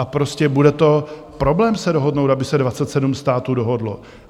A prostě bude to problém se dohodnout, aby se 27 států dohodlo.